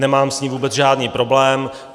Nemám s ním vůbec žádný problém.